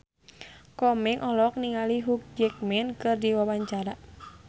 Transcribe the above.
Komeng olohok ningali Hugh Jackman keur diwawancara